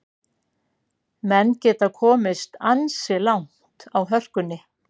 Menn geta komist ansi langt á hörkunni.